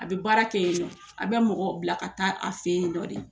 A bɛ baara kɛ yennɔ an bɛ mɔgɔ bila ka taa a fɛ yennɔ de.